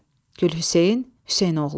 Gülhüseyn Hüseynoğlu.